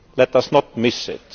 Let us not miss it.